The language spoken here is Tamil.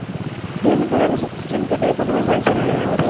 எதுக்கு தலை சுத்துச்சுன்னு கேட்டதுக்கு ஒண்ணுமே பதில் சொல்லலியா அவரு